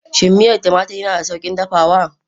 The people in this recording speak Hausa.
Shin miyar tumatir yana da sauƙin dafawa?